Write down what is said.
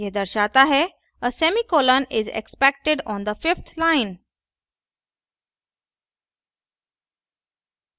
यह दर्शाता है a semi colon is expected on the fifth line